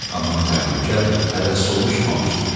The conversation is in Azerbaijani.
Amma təhlükə hələ sovuşmamışdı.